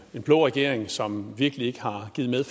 en blå regering som virkelig ikke har givet